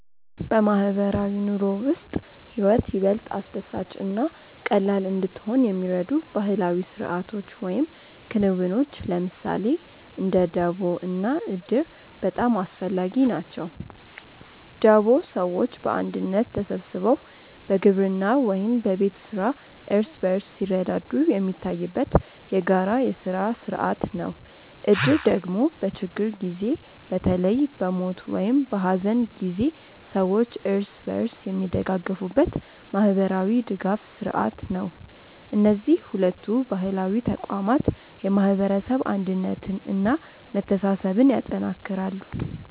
በማህበራዊ ኑሮ ውስጥ ህይወት ይበልጥ አስደሳች እና ቀላል እንድትሆን የሚረዱ ባህላዊ ስርዓቶች ወይም ክንውኖች ለምሳሌ እንደ ደቦ እና እድር በጣም አስፈላጊ ናቸው። ደቦ ሰዎች በአንድነት ተሰብስበው በግብርና ወይም በቤት ስራ እርስ በርስ ሲረዳዱ የሚታይበት የጋራ የስራ ስርዓት ነው። እድር ደግሞ በችግር ጊዜ በተለይ በሞት ወይም በሐዘን ጊዜ ሰዎች እርስ በርስ የሚደጋገፉበት ማህበራዊ ድጋፍ ስርዓት ነው። እነዚህ ሁለቱ ባህላዊ ተቋማት የማህበረሰብ አንድነትን እና መተሳሰብን ያጠናክራሉ።